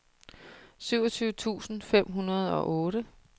syvogtyve tusind fem hundrede og otte